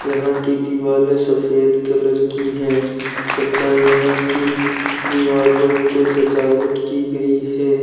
यहां की दीवालें सफेद कलर की हैं तथा यहां की दीवालों पे सजावट की गई है।